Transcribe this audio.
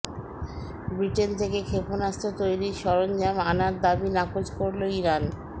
Britain থেকে ক্ষেপণাস্ত্র তৈরির সরঞ্জাম আনার দাবি নাকচ করল ইরান